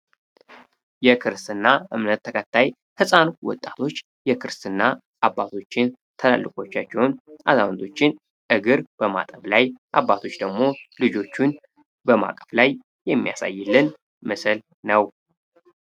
የክርስት ና እምነት ተቀታይ ፈፃኑ ወጣቶች የክርስትና አባቶችን ተላልቆቻችውን አዛመቶችን እግር በማጠብ ላይ አባቶች ደግሞ ልጆቹን በማቀፍ ላይ የሚያሳይልን ምስል ነው።